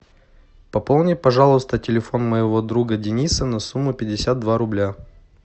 пополни пожалуйста телефон моего друга дениса на сумму пятьдесят два рубля